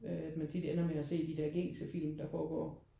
Øh at man tit ender med at se de der gængse film der foregår